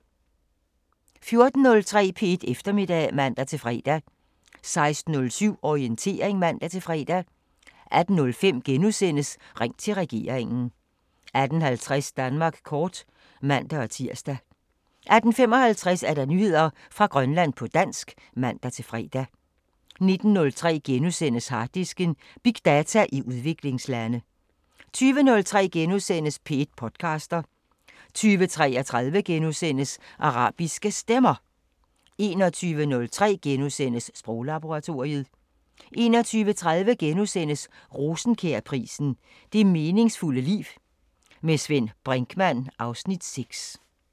14:03: P1 Eftermiddag (man-fre) 16:07: Orientering (man-fre) 18:05: Ring til regeringen * 18:50: Danmark kort (man-tir) 18:55: Nyheder fra Grønland på dansk (man-fre) 19:03: Harddisken: Big data i udviklingslande * 20:03: P1 podcaster * 20:33: Arabiske Stemmer * 21:03: Sproglaboratoriet * 21:30: Rosenkjærprisen: Det meningsfulde liv. Med Svend Brinkmann (Afs. 6)*